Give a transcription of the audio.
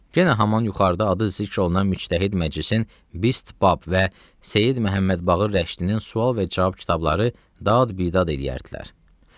Yenə həman yuxarıda adı zikr olunan Müctəhid Məclisin Bist Bab və Seyid Məhəmməd Baqır Rəşdinin sual və cavab kitabları dad-bidad eləyərdilər.